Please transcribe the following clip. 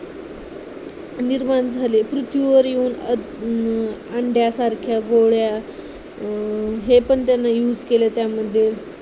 निर्माण झाली आहे पृथ्वीवर येऊन अंड्यासारख्या गोळ्या हे पण त्यांनी use केलाय त्यामध्ये